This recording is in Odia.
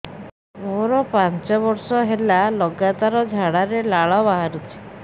ମୋରୋ ପାଞ୍ଚ ବର୍ଷ ହେଲା ଲଗାତାର ଝାଡ଼ାରେ ଲାଳ ବାହାରୁଚି